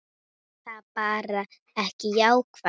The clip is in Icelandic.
Er það bara ekki jákvætt?